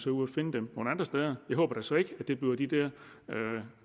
ud at finde dem nogle andre steder jeg håber da så ikke at det bliver de der